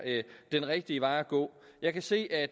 den rigtige vej at gå jeg kan se at